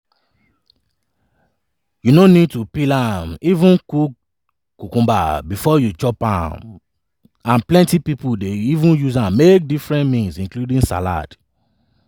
cucumber get about 96 percent water and e dey di family of fruit and um vegetables. um